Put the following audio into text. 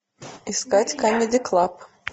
искать камеди клаб